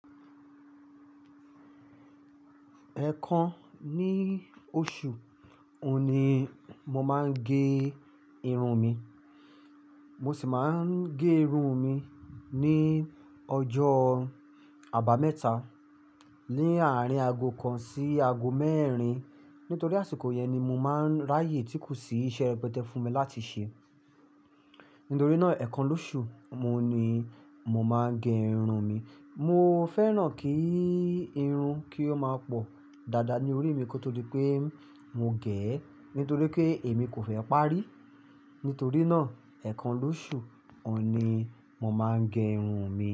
Ẹ̀ẹ̀kan ní oṣù, òun ni mo máa ń ge irun mi. Mo sì máa ń ge irun mi ní ọjọ́ àbámẹ́ta, ní àárín ago kan sí ago mẹ́rin. Nítorí àsìkò yẹn ni mo máa ń ráyè tí kò sí iṣẹ́ rẹpẹtẹ fún mi láti ṣe. Nítorí náà, ẹ̀ẹ̀kan lóṣù, oun ni mo máa ge irun mi. Mo fẹ́ràn kí irun kí ó máa pọ̀ dáadáa ní orí mi kó tó dí pé mo gẹ̀ ẹ́. Nítorí pé èmi kò fẹ́ parí. Nítorí náà, ẹ̀ẹ̀kan lóṣù, òun ni mo máa ń gẹ irun mi.